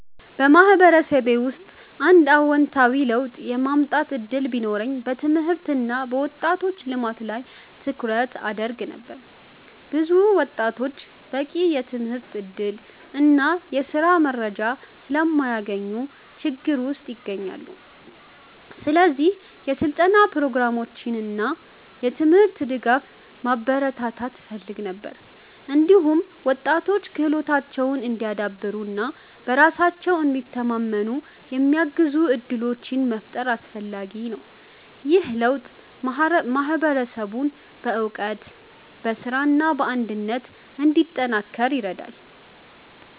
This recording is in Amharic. በማህበረሰቤ ውስጥ አንድ አዎንታዊ ለውጥ የማምጣት እድል ቢኖረኝ በትምህርት እና በወጣቶች ልማት ላይ ትኩረት አደርግ ነበር። ብዙ ወጣቶች በቂ የትምህርት እድል እና የስራ መረጃ ስለማያገኙ ችግር ውስጥ ይገኛሉ። ስለዚህ የስልጠና ፕሮግራሞችን እና የትምህርት ድጋፍ ማበረታታት እፈልግ ነበር። እንዲሁም ወጣቶች ክህሎታቸውን እንዲያዳብሩ እና በራሳቸው እንዲተማመኑ የሚያግዙ እድሎችን መፍጠር አስፈላጊ ነው። ይህ ለውጥ ማህበረሰቡን በእውቀት፣ በስራ እና በአንድነት እንዲጠናከር ይረዳል።